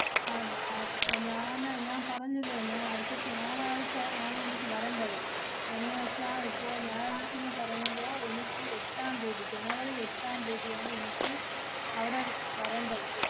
അതെ അതെ ഏർ ഞാന് ഞാൻ പറഞ്ഞില്ലേ ഞാ~ അടുത്ത ശ~ ഞായറാഴ്ച ആണെനിക്ക് വരേണ്ടത്. എന്നുവെച്ചാ ഇപ്പൊ ഞായറാഴ്ചന്ന് പറയുമ്പോ എനിക്ക് എട്ടാം തീയതി ജനവരി എട്ടാം തീയതിയാണ് എനിക്ക് അവടെ വരേണ്ടത്.